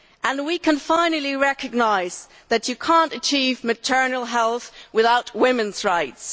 And we can finally recognise that you cannot achieve maternal health without women's rights.